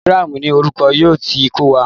Telegram ni olùkọ́ yóò ti kọ́ wa.